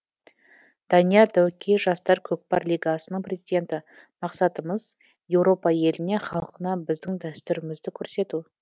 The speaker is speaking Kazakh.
данияр дәукей жастар көкпар лигасының президенті мақсатымыз европа еліне халқына біздің дәстүрімізді көрсету